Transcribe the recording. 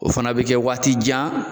O fana bɛ kɛ waati jan.